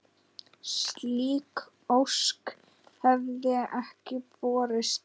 Slík ósk hefði ekki borist.